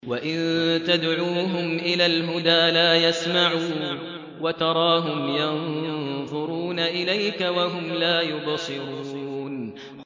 وَإِن تَدْعُوهُمْ إِلَى الْهُدَىٰ لَا يَسْمَعُوا ۖ وَتَرَاهُمْ يَنظُرُونَ إِلَيْكَ وَهُمْ لَا يُبْصِرُونَ